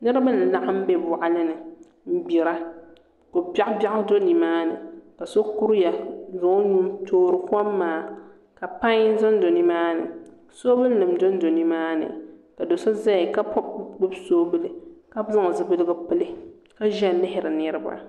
Niraba n laɣam bɛ boɣali ni n gbira ko biɛɣu biɛɣu do nimaani ka so kuriya n zaŋ o nuu n toori kom maa ka pai ʒɛnʒɛ nimaani soobuli nim dondo nimaani ka do so ʒɛya ka gbubi soobuli ka zaŋ zipiligu pili ka ʒiya lihiri niriba